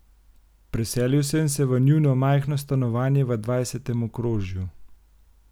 Preselil sem se v njuno majhno stanovanje v dvajsetem okrožju.